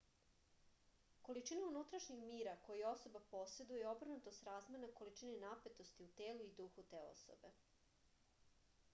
količina unutrašnjeg mira koji osoba poseduje je obrnuto srazmerna količini napetosti u telu i duhu te osobe